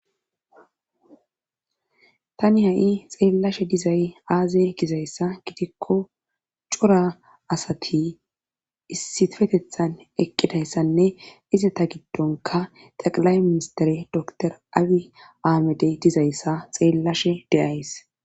tani ha7i xeellashe dizay aaze gizayssa gidikko cora asati issifetethan eqqidayssanne izita giddonka xaqilay ministere dotor aawi aamedey dizayssa xeellashe deyays